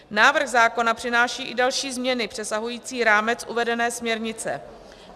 Návrh zákona přináší i další změny přesahující rámec uvedené směrnice.